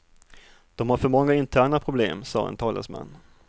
De har för många interna problem, sa en talesman.